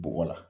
Bɔgɔ la